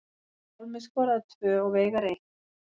Pálmi skoraði tvö og Veigar eitt